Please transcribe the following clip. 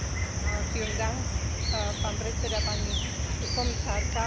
V prvom rade by som chcela poďakovať kolegyni Griesbeck za jej správu.